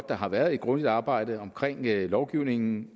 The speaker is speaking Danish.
der har været et grundigt arbejde omkring lovgivningen